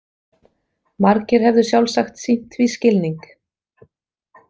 Margir hefðu sjálfsagt sýnt því skilning.